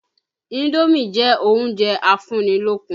Indómì jẹ́ oúnjẹ afúnnilókun.